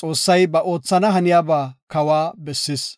Xoossay ba oothana haniyaba kawa bessis.